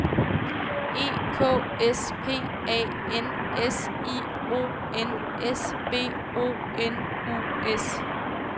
E K S P A N S I O N S B O N U S